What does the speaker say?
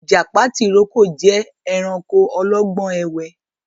Ìjàpá tìrókò jẹ ẹranko ọlọ́gbọ́n ẹ̀wẹ́